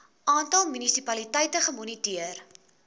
aantal munisipaliteite gemoniteer